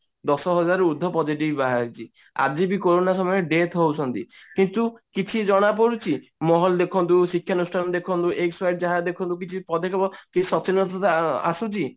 ଦଶ ହଜାର ରୁ ଉର୍ଦ୍ଧ positive ବାହାରିଛି ଆଜି ବି କୋରୋନା ସମୟରେ death ହଉଛନ୍ତି କିନ୍ତୁ କିଛି ଜଣା ପଡୁଛି mall ଦେଖନ୍ତୁ ଶିକ୍ଷାନୁଷ୍ଠାନ ଦେଖନ୍ତୁ XY ଯାହା ଦେଖନ୍ତୁ କିଛୁ ପଦେକ୍ଷେପ କିଛି ସଚେତନତା ଆସୁଛି